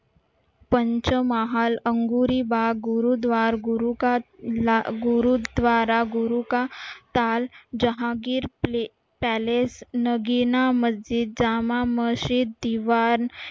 Pancham Mahal Angoori Bagh Gurudwar Gurudwara Guru ka Taal Jahangir palace Nagina Masjid Jama Masjid